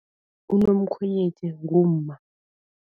Unomkhwenyethi ngumma.